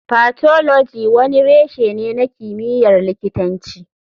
Pathology wani reshe ne na kimiyyar likitanci.